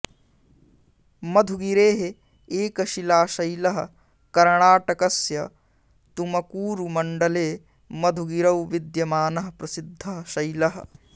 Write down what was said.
मधुगिरेः एकशिलाशैलः कर्णाटकस्य तुमकूरुमण्डले मधुगिरौ विद्यमानः प्रसिद्धः शैलः